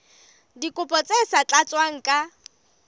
dikopo tse sa tlatswang ka